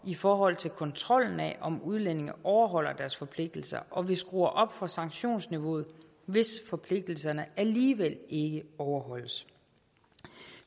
i forhold til kontrollen af om udlændinge overholder deres forpligtelser og vi skruer op for sanktionsniveauet hvis forpligtelserne alligevel ikke overholdes